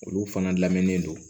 Olu fana lamɛnen don